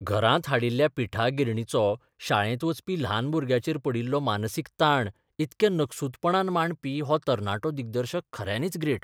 घरांत हाडिल्ल्या पिठा गिरणीचो शाळेंत वचपी ल्हान भुरग्याचेर पडिल्लो मानसीक ताण इतल्या नकसूदपणान मांडपी हो तरणाटो दिग्दर्शक खऱ्यांनीच ग्रेट.